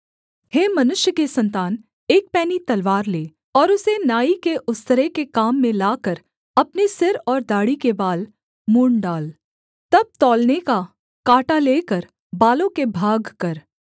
हे मनुष्य के सन्तान एक पैनी तलवार ले और उसे नाई के उस्तरे के काम में लाकर अपने सिर और दाढ़ी के बाल मुँण्ड़ डाल तब तौलने का काँटा लेकर बालों के भागकर